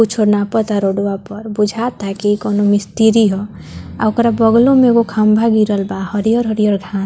कुछो नापता रोडवा पर बुझाता की कोनो मिस्त्री ह और ओकरो बगल में खम्भा गिरल बा हरियर-हरियर घा --